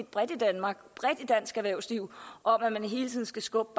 bredt i danmark bredt i dansk erhvervsliv om at man hele tiden skal skubbe